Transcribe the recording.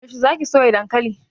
Yaushe za ki soya dankali?